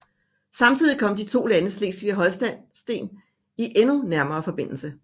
Samtidig kom de to lande Slesvig og Holsten i endnu nærmere forbindelse